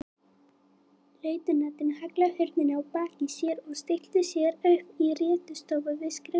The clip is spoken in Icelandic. Lautinantinn hallaði hurðinni að baki sér og stillti sér upp í réttstöðu við skrifborðið.